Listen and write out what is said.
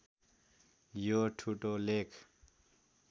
यो ठुटो लेख